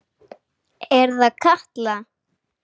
Er það Katla?